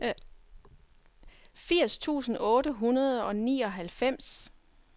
firs tusind otte hundrede og nioghalvfems